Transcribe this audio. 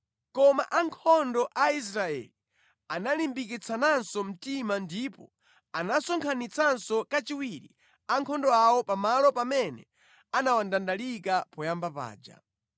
Koma ankhondo a Israeli analimbikitsananso mtima ndipo anasonkhanitsanso kachiwiri ankhondo awo pa malo pamene anawandandalika poyamba paja.